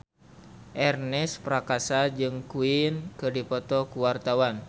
Ernest Prakasa jeung Queen keur dipoto ku wartawan